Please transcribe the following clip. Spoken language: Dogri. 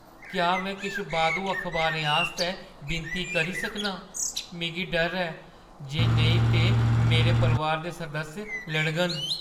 क्या में किश बाद्धू अखबारें आस्तै विनती करी सकनां? मिगी डर ऐ जे नेईं ते मेरे परोआर दे सदस्य लड़ङन।